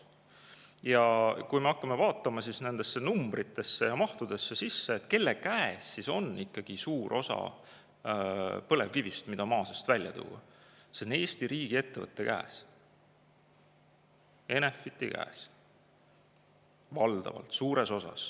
Ja kui me hakkame vaatama neid numbreid ja mahte ehk seda, kelle käes ikkagi on suur osa põlevkivist, mida maa seest välja tuua, siis see on Eesti riigi ettevõtte käes, suures osas on see Enefiti käes.